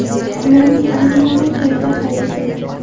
Ularning ayrimlari joyida hal etildi.